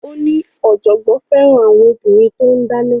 Ó ní ọ̀jọ̀gbọ́n fẹ́ràn àwọn obìnrin tó ń dáná